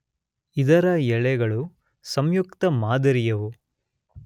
ಇದರ ಎಲೆಗಳು ಸಂಯುಕ್ತ ಮಾದರಿಯವು.